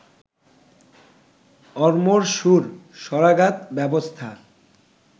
অরমোর সুর স্বরাঘাত ব্যবস্থা